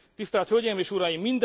Tisztelt hölgyeim és uraim!